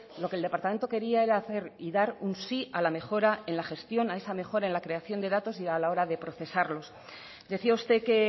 lo que el departamento quería era hacer y dar un sí a la mejora en la gestión a esa mejora en la creación de datos y a la hora de procesarlos decía usted que